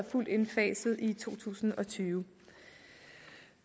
fuldt indfaset i to tusind og tyve